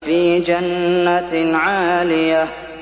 فِي جَنَّةٍ عَالِيَةٍ